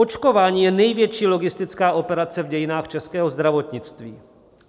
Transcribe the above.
Očkování je největší logistická operace v dějinách českého zdravotnictví.